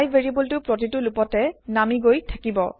I variable টো প্ৰতিটো লুপতে নামি গৈ থাকিব